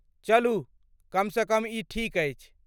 चलू, कम सँ कम ई ठीक अछि।